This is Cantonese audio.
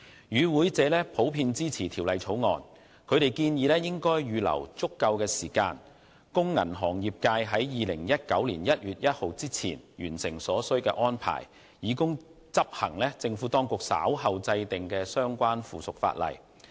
與會者普遍支持《條例草案》，他們建議應預留足夠時間，供銀行業界在2019年1月1日前完成所需的安排，以執行政府當局稍後制定的相關附屬法例。